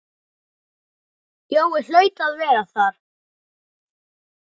Jói hlaut að vera þar.